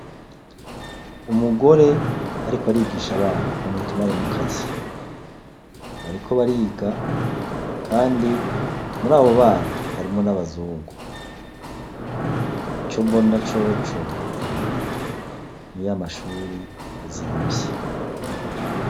Umugore ariko arigisha abana bamwita umwarimukazi bariko bariga kandi muri abo bana harimwo n' abazungu ico mbona coco ni ya mashure azimvye.